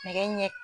Nɛgɛ ɲɛ